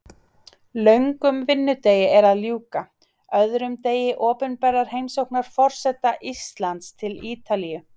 Löngum vinnudegi er að ljúka, öðrum degi opinberrar heimsóknar forseta Íslands til Ítalíu.